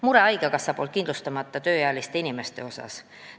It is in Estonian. Mure on haigekassas kindlustamata tööealiste inimeste pärast.